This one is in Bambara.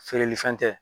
Feereli fɛn tɛ